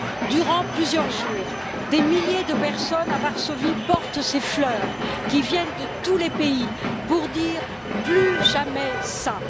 Durant plusieurs jours, des milliers de personnes à Varsovie portent ces fleurs qui viennent de tous les pays pour dire plus jamais ça.